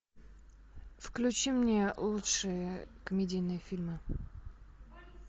включи мне лучшие комедийные фильмы